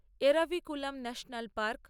Eravikulam national park